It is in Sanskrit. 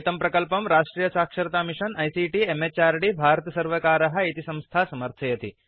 एतं प्रकल्पं राष्ट्रीय साक्षरता मिषन् आईसीटी म्हृद् भारत सर्वकारः इति संस्था समर्थयति